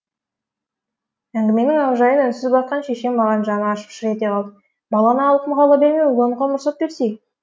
әңгіменің аужайын үнсіз баққан шешем маған жаны ашып шыр ете қалды баланы алқымға ала бермей ойлануға мұрсат берсей